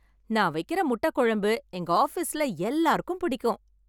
நான் வைக்கிற முட்டை குழம்பு எங்க ஆபீஸ்ல எல்லாருக்கும் பிடிக்கும்.